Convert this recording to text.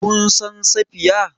Kun san Safiya?